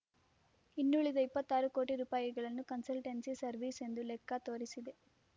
ಇನ್ನುಳಿದ ಇಪ್ಪತ್ತಾರು ಕೋಟಿ ರೂಪಾಯಿಗಳನ್ನು ಕನ್ಸಲ್ಟೆನ್ಸಿ ಸರ್ವಿಸ್‌ ಎಂದು ಲೆಕ್ಕ ತೋರಿಸಿದೆ